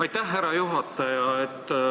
Aitäh, härra juhataja!